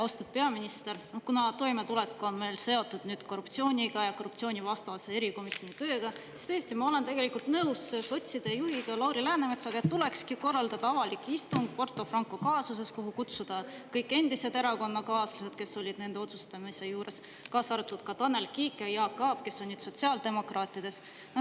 Austatud peaminister, kuna toimetulek on meil seotud nüüd korruptsiooniga ja korruptsioonivastase erikomisjoni tööga, siis tõesti ma olen tegelikult nõus sotside juhiga Lauri Läänemetsaga, et tulekski korraldada avalik istung Porto Franco kaasuses, kuhu kutsuda kõik endised erakonnakaaslased, kes olid nende otsustamise juures, kaasa arvatud ka Tanel Kiik ja Jaak Aab, kes on nüüd sotsiaaldemokraatides.